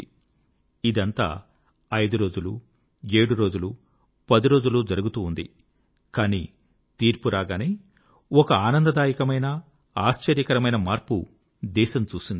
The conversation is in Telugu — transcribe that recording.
కానీ ఇదంతా ఐదురోజులు ఏడు రోజులు పది రోజులు జరుగుతూ ఉంది కానీ తీర్పు రాగానే ఒక ఆనందదాయకమైన ఆశ్చర్యకరమైన మార్పు దేశం చూసింది